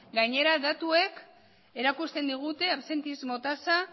gainera datuek erakusten digute absentismo tasa